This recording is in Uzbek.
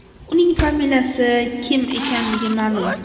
Uning familiyasi Kim ekanligi ma’lum.